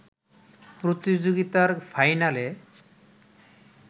প্রতিযোগিতার ফাইনালে